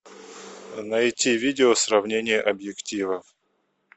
найти видео сравнение объективов